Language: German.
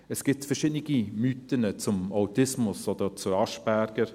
Es gibt verschiedene Mythen zum Autismus oder zu Asperger.